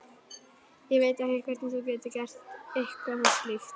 Ég veit ekki hvernig þú getur gert eitthvað þessu líkt.